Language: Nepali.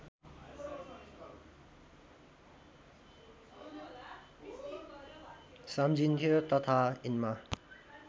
सम्झिइन्थ्यो तथा यिनमा